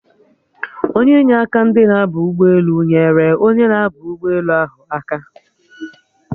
Onye inyeaka ndị na-aba ụgbọelu nyerere onye na-aba ụgbọelu ahụ aka